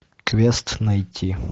квест найти